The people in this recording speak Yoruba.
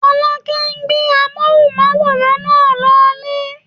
Fọlákẹ́ gbé amóhùnmáwòrán náà lọ lé